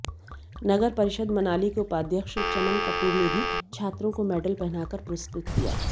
नगर परिषद मनाली के उपाध्यक्ष चमन कपूर ने भी छात्रों को मेडल पहनाकर पुरस्कृत किया